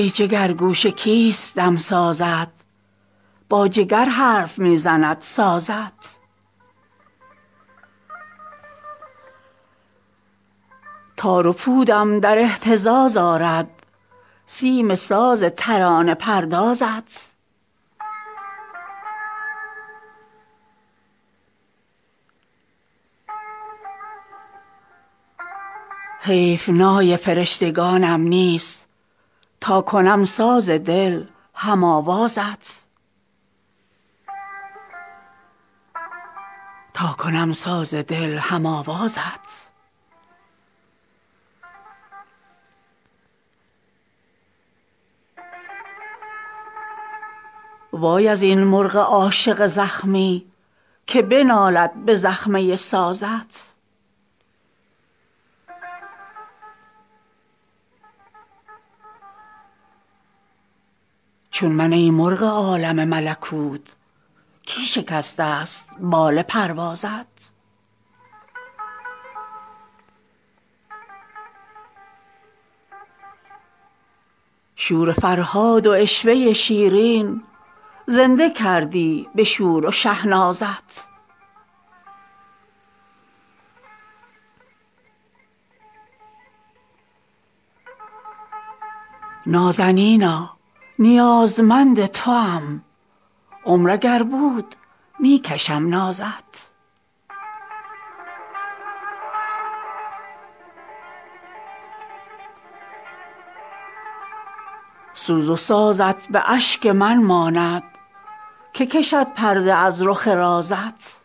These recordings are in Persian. ای جگرگوشه کیست دمسازت با جگر حرف می زند سازت تار و پودم در اهتزاز آرد سیم ساز ترانه پردازت حیف نای فرشتگانم نیست تا کنم ساز دل هم آوازت وای ازین مرغ عاشق زخمی که بنالد به زخمه سازت چون من ای مرغ عالم ملکوت کی شکسته ست بال پروازت شور فرهاد و عشوه شیرین زنده کردی به شور و شهنازت نازنینا نیازمند توام عمر اگر بود می کشم نازت سوز و سازت به اشک من ماند که کشد پرده از رخ رازت چون ننالی که درگرفته چو نی شور شیرین لبان طنازت چشم من در پی تو خواهد بود در کجا بینم ای پسر بازت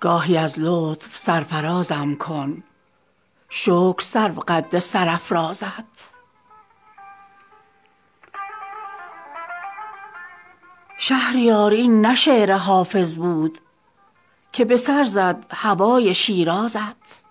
گاهی از لطف سرفرازم کن شکر سرو قد سرافرازت شهریار این نه شعر حافظ بود که به سر زد هوای شیرازت